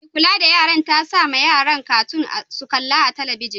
Mai kulla da yaran ta sa ma yaran katun su kalla a'telibijin.